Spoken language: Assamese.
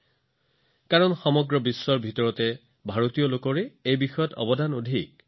যি কি নহওক ভাৰতৰ জনসাধাৰণে গণিতৰ বিষয়ে সমগ্ৰ বিশ্বলৈ আটাইতকৈ বেছি গৱেষণা আৰু অৱদান আগবঢ়াইছে